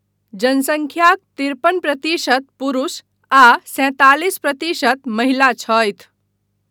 जनसंख्याक तिरपन प्रतिशत पुरुष आ सैंतालिस प्रतिशत महिला छथि ।